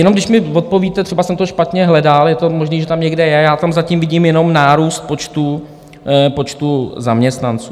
Jenom když mi odpovíte, třeba jsem to špatně hledal, je možné, že to tam někde je, já tam zatím vidím jenom nárůst počtu zaměstnanců.